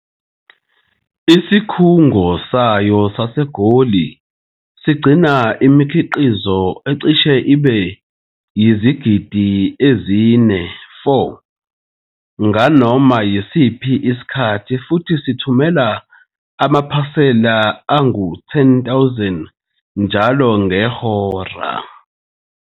Isikhungo sayo saseGoli sigcina imikhiqizo ecishe ibe yizigidi ezi-4 nganoma yisiphi isikhathi futhi sithumela amaphasela ayi-10 000 njalo ngehora.